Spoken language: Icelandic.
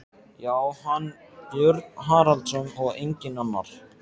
Já, hann, Björn Haraldsson, og enginn annar!